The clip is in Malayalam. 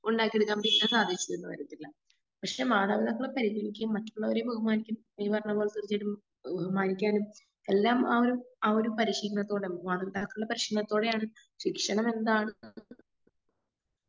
ഉണ്ടാക്കിയെടുക്കാൻ സാധിച്ചുന്ന് വരത്തില്ല. പക്ഷെ മാതാപിതാക്കളെ പരിഗണിക്കുകയും മറ്റുള്ളവരെ ബഹുമാനിക്കുകയും ചെയ്യുന്ന ബഹുമാനിക്കാനും എല്ലാം ആ ഒരു ആ ഒരു പരിശീലനത്തോട് ബന്ധമാണ്. മാതാപിതാക്കളുടെ പരിശീലനത്തോടെയാണ്. ശിക്ഷണം എന്താണ്